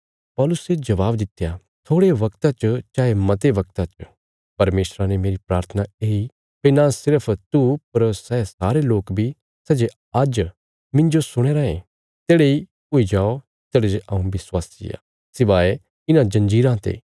पौलुसे जबाब दित्या थोड़े वगता च चाये मते वगता च परमेशरा ने मेरी प्राथना येई भई नां सिर्फ तू पर सै सारे लोक बी सै जे आज्ज मिन्जो सुणया राँये तेढ़े इ हुई जाओ तेढ़ा जे हऊँ विश्वासी आ सिवाय इन्हां जंजीराँ ते